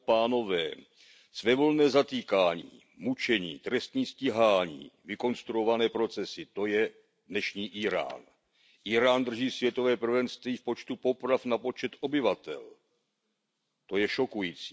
Pane předsedající, svévolné zatýkání, mučení, trestní stíhání, vykonstruované procesy, to je dnešní Írán. Írán drží světové prvenství v počtu poprav na počet obyvatel, to je šokující.